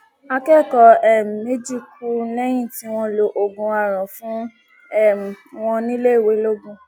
akẹkọọ um méjì kú lẹyìn tí wọn lo oògùn àràn fún um wọn níléèwé lọgun